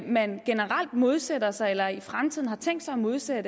man generelt modsætter sig eller i fremtiden har tænkt sig at modsætte